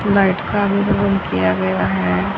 बैठका के लिए रुम किया गया है।